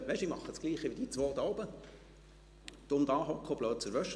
– «Nun, ich mache dasselbe wie die zwei da oben: dumm dasitzen und blöd aus der Wäsche gucken.»